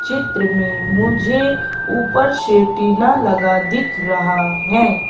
चित्र में मुझे ऊपर से टीना लगा दिख रहा है।